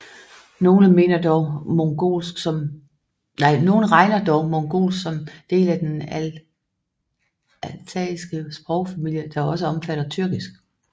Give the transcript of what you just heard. Nogle regner dog mongolsk som del af den altaiske sprogfamilie der også omfatter tyrkisk